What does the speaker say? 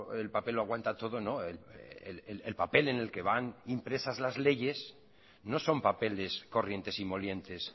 el papel lo aguanta todo el papel en el que van impresas las leyes no son papeles corrientes y molientes